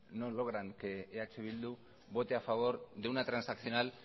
no logran que eh bildu vote a favor de una transaccional